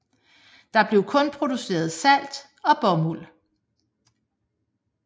Der blev kun produceret salt og bomuld